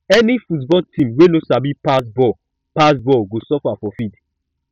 any football team wey no sabi pass ball pass ball go suffer for field